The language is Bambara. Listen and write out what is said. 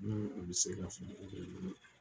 Ni u bi se ka